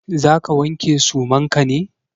Za ka wanke suman ka ne?